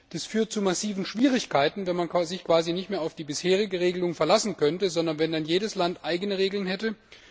Das würde zu massiven Schwierigkeiten führen, wenn man sich nicht mehr auf die bisherige Regelung verlassen könnte, sondern wenn jedes Land eigene Regeln hätte.